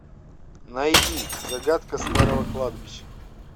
найди загадка старого кладбища